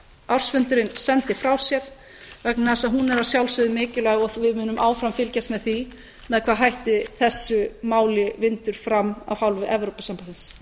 ársfundurinn sendi frá sér vegna þess að hún er að sjálfsögðu mikilvæg og við munum áfram fylgjast með því með hvaða hætti þessu máli vindur fram af hálfu evrópusambandsins